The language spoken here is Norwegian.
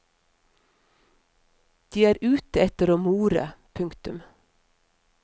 De er ute etter å more. punktum